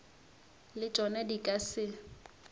le tšona di ka se